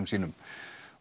sínum